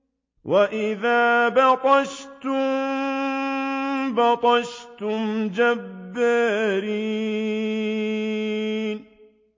وَإِذَا بَطَشْتُم بَطَشْتُمْ جَبَّارِينَ